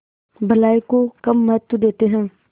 भलाई को कम महत्व देते हैं